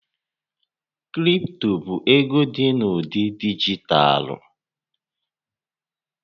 Kripto bụ ego dị n'ụdị dijitalụ.